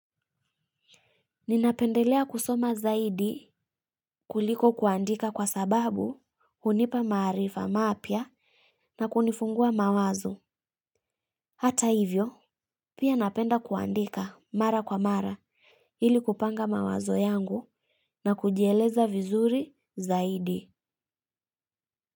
Ninapendelea kusoma zaidi kuliko kuandika kwa sababu unipa maarifa mapya na kunifungua mawazo. Hata hivyo, pia napenda kuandika mara kwa mara ili kupanga mawazo yangu na kujieleza vizuri zaidi.